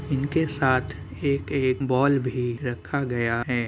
इनके साथ एक-एक बॉल भी रखा गया है।